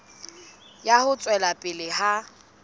ya ho tswela pele ha